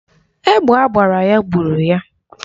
Egbe agbara ya gburu ya.